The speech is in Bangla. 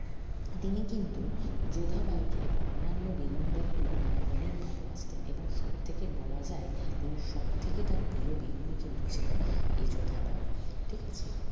তিনি কিন্তু যোধাবাইকে অন্যান্য বেগমদের তুলনায় অনেক ভালবাসতেন এবং সবথেকে বলা যায় তিনি সবথেকে তার প্রিয় বেগমই কিন্দু ছিলেন এই যোধাবাই ঠিকাছে